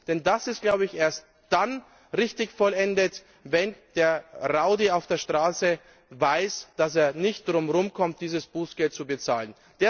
Denn es ist, glaube ich, erst dann richtig vollendet, wenn der Rowdy auf der Straße weiß, dass er nicht drumherum kommt, dieses Bußgeld zu bezahlen.